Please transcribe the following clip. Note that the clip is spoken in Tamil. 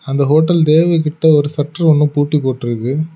அந்த ஹோட்டல் தேவ் கிட்ட ஒரு ஷட்டர் ஒன்னு பூட்டி போட்ருக்கு.